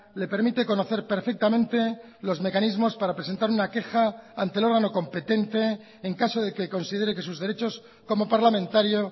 le permite conocer perfectamente los mecanismos para presentar una queja ante el órgano competente en caso de que considere que sus derechos como parlamentario